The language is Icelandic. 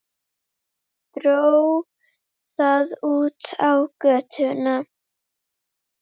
Dró það út á götuna.